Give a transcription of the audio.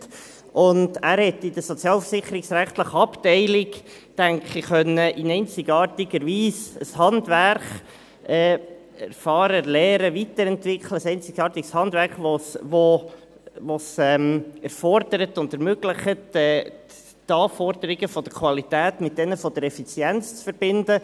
Ich denke, er konnte in der sozialversicherungsrechtlichen Abteilung in einzigartiger Weise ein Handwerk erfahren, lernen, weiterentwickeln, ein einzigartiges Handwerk, das es erfordert und ermöglicht, die Anforderungen der Qualität mit denjenigen der Effizienz zu verbinden.